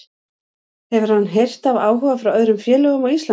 Hefur hann heyrt af áhuga frá öðrum félögum á Íslandi?